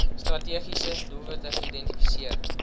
strategiese doelwitte geïdentifiseer